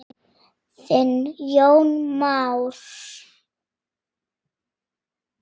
Þinn Jón Már.